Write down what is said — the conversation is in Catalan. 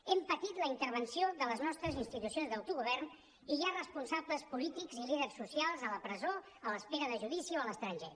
hem patit la intervenció de les nostres institucions d’autogovern i hi ha responsables polítics i líders socials a la presó a l’espera de judici o a l’estranger